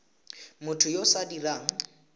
motho yo o sa dirang